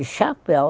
E chapéu.